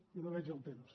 jo no veig el temps